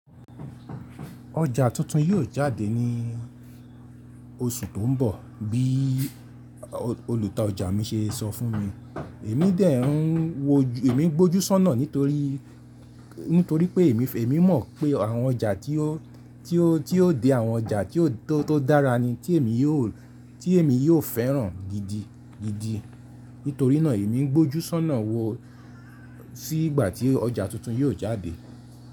Oja tuntun yíò jáde ní oṣù tó ń bọ̀, bí olùta ọjà mi ṣe sọ fún mi. Èmi dè ń wo, èmi gbójú sọ́nà nítorí, nítorí pé èmi, èmi mọ̀ pé àwọn ọjà tí ó, tí ó, tí ó dé àwọn ọjà tí ó tó dára ni tí èmi yó, tí èmi yóò fẹ́ràn gidi gidi. Nítorí náà èmi ń gbójú sọ́nà wo, sí ìgbà tí ọjà tuntun yíò jáde.